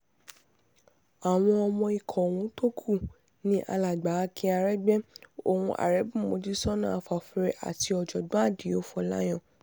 àwọn ọmọ ikọ̀ ọ̀hún tó kú ni alàgbà akin aregbe on arebu mojisóná afáfúre àti ọ̀jọ̀gbọ́n àdìo fòláyàn